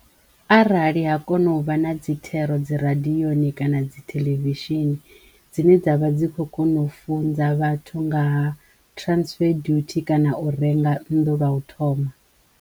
Arali ha kono vha na dzi thero dzi radiyoni kana dzi theḽevishini dzine dzavha dzi kho kono u funza vhathu nga ha transfer dutie kana u renga nnḓu lwa u thoma.